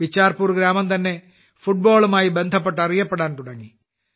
ബിച്ചാർപൂർ ഗ്രാമം തന്നെ ഫുട്ബോളുമായി ബന്ധപ്പെട്ട് അറിയപ്പെടാൻ തുടങ്ങി